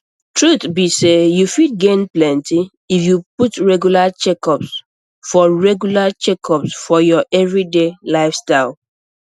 truth be say you fit gain plenty if you put regular checkups for regular checkups for your everyday lifestyle